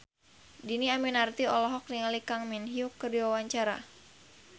Dhini Aminarti olohok ningali Kang Min Hyuk keur diwawancara